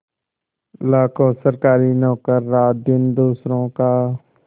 लाखों सरकारी नौकर रातदिन दूसरों का